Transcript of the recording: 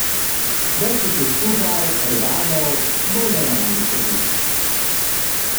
Več jih je skupaj, orbanov, bolj normalni so videti.